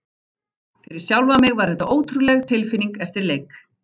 Fyrir sjálfan mig var þetta ótrúleg tilfinning eftir leik.